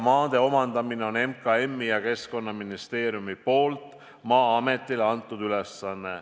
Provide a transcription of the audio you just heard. Maade omandamise on MKM ja Keskkonnaministeerium teinud ülesandeks Maa-ametile.